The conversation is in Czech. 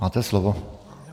Máte slovo.